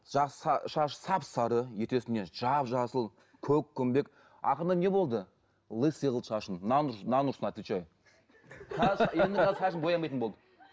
ы шашы сап сары ертесіне жап жасыл көкпеңбек ақырында не болды лыйсый қылды шашын нан ұрсын отвечаю шашын боямайтын болды